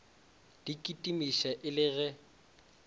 di kitimiša e le ge